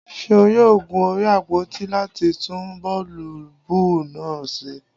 Seun yoo gun orí àpoti lati tun boolubu naa ṣe.